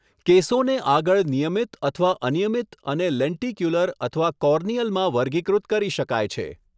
કેસોને આગળ નિયમિત અથવા અનિયમિત અને લેન્ટિક્યુલર અથવા કોર્નિયલમાં વર્ગીકૃત કરી શકાય છે.